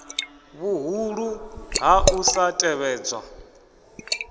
vhuhulu ha u sa tevhedzwa